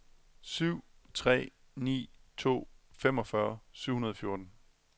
syv tre ni to femogfyrre syv hundrede og fjorten